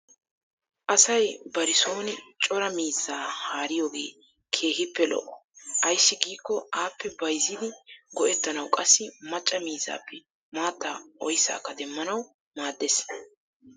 Asay bari sooni cora miizzaa haariyogee keehippe lo'o. Ayssi giikko appe bayzzidi go'ettanawu qassi macca miizzaappe maattaa oyssaakka demmanawu maaddees.